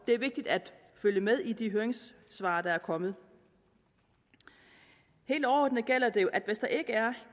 det er vigtigt at følge med i de høringssvar der er kommet helt overordnet gælder det jo at hvis der ikke er